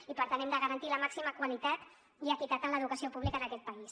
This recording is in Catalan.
i per tant hem de garantir la màxima qualitat i equitat en l’educació pública en aquest país